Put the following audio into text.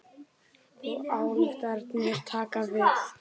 Og ályktanir taka við.